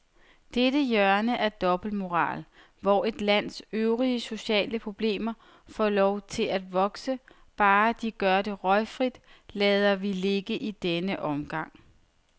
Dette hjørne af dobbeltmoral, hvor et lands øvrige sociale problemer får lov at vokse, bare de gør det røgfrit, lader vi ligge i denne omgang.